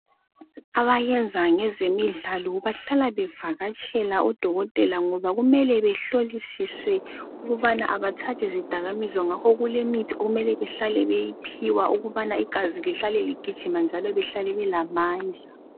Abayenza ngezemidlalo bahlala bevakatshela odokotela ngoba kumele behlolisiswe ukubana abathathi zidakamizwa ngoba kulemithi okumele bahlale beyiphiwa ukubana igazi lihlale ligijima njalo behlale belamandla.